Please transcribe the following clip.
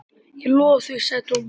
Ég lofa því sagði Thomas.